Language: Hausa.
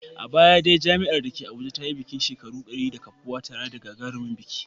A baya dai jami'ar da ke Abuja ta yi bikin cika shekaru dari da kafuwa tare da gagarumin biki.